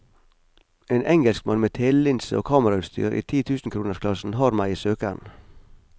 En engelskmann med telelinse og kamerautstyr i titusenkronersklassen har meg i søkeren.